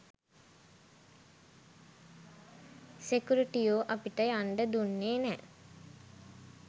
සෙකුරිටියෝ අපිට යන්ඩ දුන්නේ නැහැ.